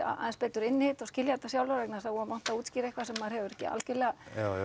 aðeins betur inn í þetta og skilja þetta sjálfar vegna þess að voða vont að útskýra eitthvað sem maður hefur ekki algjörlega